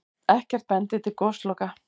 Ekkert bendi til gosloka.